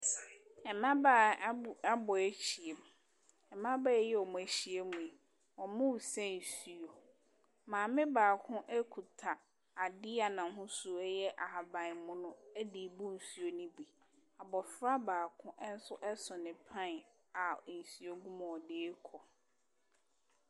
Mmabaa abo abɔ ahyia mu. Mmabaa yi a wɔahyia mu yi wɔresa nsuo. Maame baako kuta adeɛ a n’ahosuo yɛ ahaban mono de rebu nsuo no bi. Abɔfra baako nso so ne pan a nsuo gu mu a ɔde rekɔ.